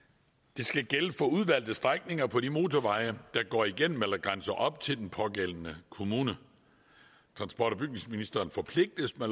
det skal gælde for udvalgte strækninger på de motorveje der går igennem eller grænser op til den pågældende kommune transport og bygningsministeren forpligtes med